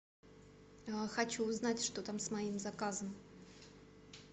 хочу узнать что там с моим заказом